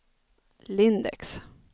Lindex